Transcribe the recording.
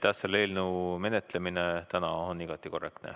Täna selle eelnõu menetlemine on igati korrektne.